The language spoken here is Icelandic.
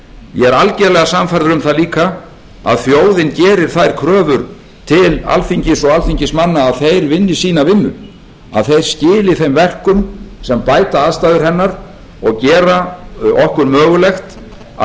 ég er algerlega sannfærður um það líka að þjóðin gerir þær kröfur til alþingis og alþingismanna að þeir vinni sína vinnu að þeir skili þeim verkum sem bæta aðstæður hennar og gera okkur mögulegt að